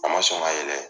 A ma sɔn ka yɛlɛ